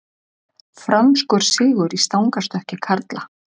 Franskur sigur í stangarstökki karla